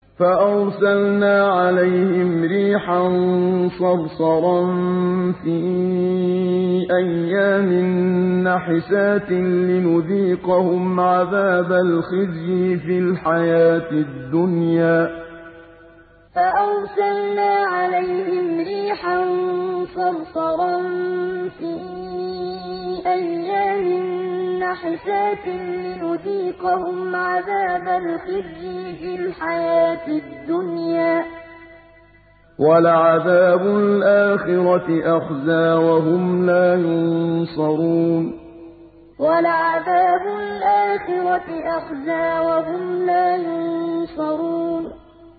فَأَرْسَلْنَا عَلَيْهِمْ رِيحًا صَرْصَرًا فِي أَيَّامٍ نَّحِسَاتٍ لِّنُذِيقَهُمْ عَذَابَ الْخِزْيِ فِي الْحَيَاةِ الدُّنْيَا ۖ وَلَعَذَابُ الْآخِرَةِ أَخْزَىٰ ۖ وَهُمْ لَا يُنصَرُونَ فَأَرْسَلْنَا عَلَيْهِمْ رِيحًا صَرْصَرًا فِي أَيَّامٍ نَّحِسَاتٍ لِّنُذِيقَهُمْ عَذَابَ الْخِزْيِ فِي الْحَيَاةِ الدُّنْيَا ۖ وَلَعَذَابُ الْآخِرَةِ أَخْزَىٰ ۖ وَهُمْ لَا يُنصَرُونَ